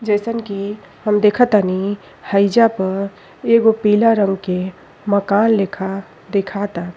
जइसन कि हम देखतानी हईजा पर एगो पीला रंग के मकान लेखा दिखाता।